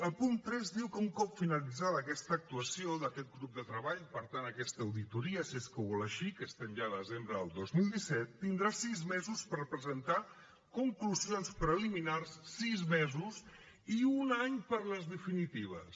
el punt tres diu que un cop finalitzada aquesta actuació d’aquest grup de treball per tant aquesta auditoria si és que ho vol així que estem ja a desembre del dos mil disset tindrà sis mesos per presentar conclusions preliminars sis mesos i un any per a les definitives